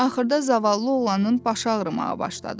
Axırda zavallı oğlanın başı ağrımağa başladı.